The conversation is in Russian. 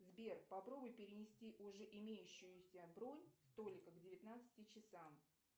сбер попробуй перенести уже имеющуюся бронь столика к девятнадцати часам